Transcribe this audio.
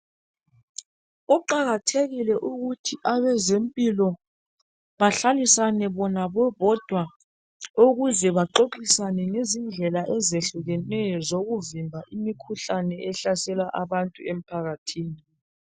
Kuqakathekile ukuthi abeze mpilo behlalisane bona bebodwa ukuze baxoxisane ngendlela ezihlukeneyo zokuvimba imikhuhlane ehlasela abantu empakathini.